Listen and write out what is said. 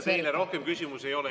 Teile rohkem küsimusi ei ole.